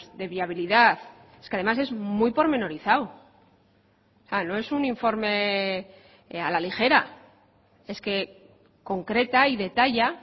de viabilidad es que además es muy pormenorizado no es un informe a la ligera es que concreta y detalla